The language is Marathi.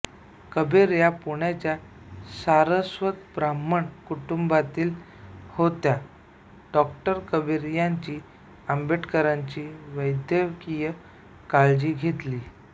कबीर या पुण्याच्या सारस्वत ब्राह्मण कुटुंबातील होत्या डॉ कबीर यांची आंबेडकरांची वैद्यकीय काळजी घेतली